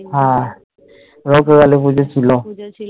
হ্যাঁ রক্ষাকালী পুজো ছিল